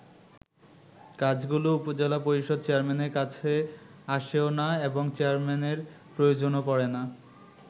কাজগুলো উপজেলা পরিষদ চেয়ারম্যানের কাছে আসেও না এবং চেয়ারম্যানের প্রয়োজনও পড়েনা।